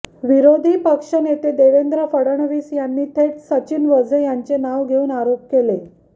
विरोधी पक्षनेते देवेंद्र फडणवीस यांनी थेट सचिन वाझे यांचे नाव घेऊन आरोप केले